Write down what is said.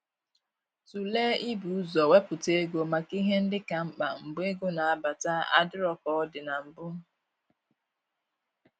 Tụlee i bu ụzọ wepụta ego maka ihe ndị ka mkpa mgbe ego na-abata adịro ka ọ dị na mbụ